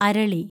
അരളി